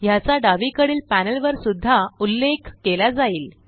ह्याचा डावीकडील पेनलवर सुद्धा उल्लेख केला जाईल